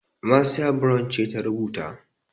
Marcia Brown ce ta rubuta.